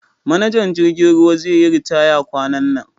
manajan jirgin ruwa zeyi ritaya kwanan nan